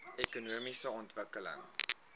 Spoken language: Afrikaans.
ekonomiese ontwikkeling